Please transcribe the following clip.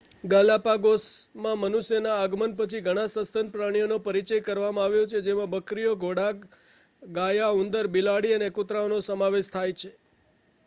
ગાલાપાગોસમાં મનુષ્યના આગમન પછી ઘણા સસ્તન પ્રાણીઓનો પરિચય કરવામાં આવ્યો છે જેમાં બકરીઓ ઘોડા ગાયા ઉંદર બિલાડી અને કૂતરાઓનો સમાવેશ થાય છે